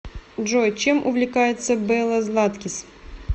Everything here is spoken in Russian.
джой чем увлекается белла златкис